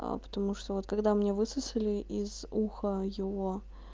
аа потому что вот когда у меня высосали из уха его